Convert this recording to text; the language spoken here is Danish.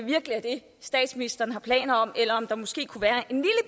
statsministeren har planer om eller om der måske kunne være